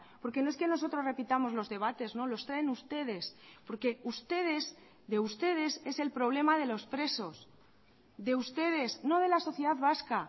porque no es que nosotros repitamos los debates no los traen ustedes porque ustedes de ustedes es el problema de los presos de ustedes no de la sociedad vasca